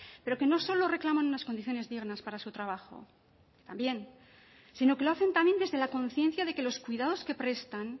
pero que no solo reclaman unas condiciones dignas para su trabajo también sino que lo hacen también desde la conciencia de que los cuidados que prestan